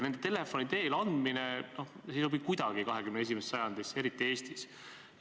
Pealegi ei sobi selliste andmete telefoni teel andmine kuidagi 21. sajandisse, eriti Eestis.